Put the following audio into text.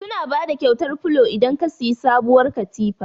Suna bada kyautar filo idan ka siyi sabuwar katifa.